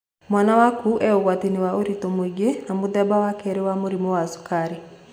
Mwana waku e ũgwatinĩ wa ũritũ mũingĩ na mũthemba wa kerĩ wa mũrimũ wa cukari.